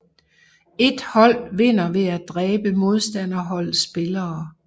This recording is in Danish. Et hold vinder ved at dræbe modstanderholdets spillere